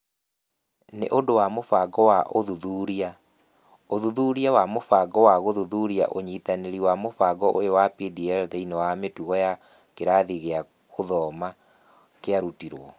Nĩ ũndũ wa mũbango wa ũthuthuria, ũthuthuria wa mũbango wa gũthuthuria ũnyitanĩri wa mũbango ũyũ wa DPL thĩinĩ wa mĩtugo ya kĩrathi gĩa gũthoma kĩarutirũo